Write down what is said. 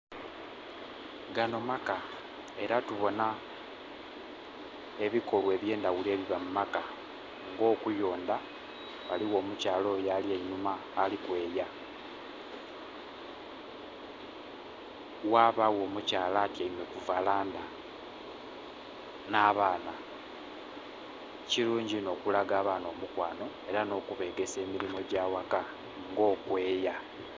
Gano maka era tubona ebikolwa ebyendhaghulo ebiba mumaka nga okuyondha, ghaligho omukyala oyo ali einhuma alikweya, ghabagho omukyala atyaime kuvalandha n'abaana. Kirungi ino okulaga abaana omukwano era nokubegesa emirimo egya waka nga okweya.